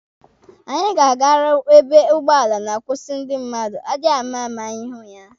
Anyị ga-agaru ebe ụgbọala na-akwụsị ndị mmadụ, adiamama anyị hụ ya.